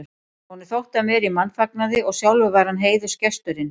Honum þótti hann vera í mannfagnaði og sjálfur var hann heiðursgesturinn.